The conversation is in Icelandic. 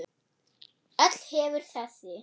Öll hefur þessi